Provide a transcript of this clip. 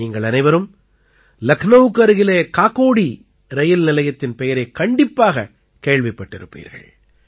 நீங்கள் அனைவரும் லக்னௌவுக்கு அருகிலே காகோடீ ரயில் நிலையத்தின் பெயரைக் கண்டிப்பாகக் கேள்விப்பட்டிருப்பீர்கள்